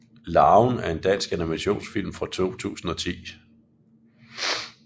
Larven er en dansk animationsfilm fra 2010